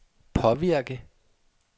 påvirke